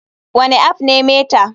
Wane app ne meta?